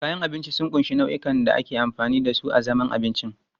Kayan abinci sun ƙunshi nau'ikan abubuwan da ake amfani da su a zaman abinci.